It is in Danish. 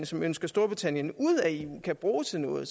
som ønsker storbritannien ud af eu kan bruge til noget